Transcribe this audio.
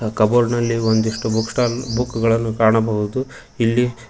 ಕಬೋರ್ಡ್ನಲ್ಲಿ ಒಂದಿಷ್ಟು book stall ಬುಕ್ಕುಗಳನ್ನು ಕಾಣಬಹುದು ಇಲ್ಲಿ--